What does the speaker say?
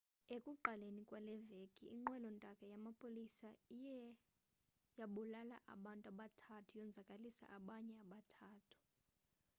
ekuqaleni kwaleveki inqwelontaka yamapolisa iwe yabulala abantu abathathu yonzakalisa abanye abathathu